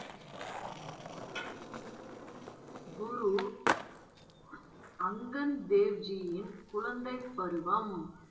குரு அங்கன் தேவ்ஜியின், குழந்தைப் பருவம்